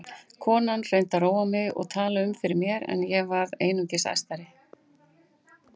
Konan reyndi að róa mig og tala um fyrir mér en ég varð einungis æstari.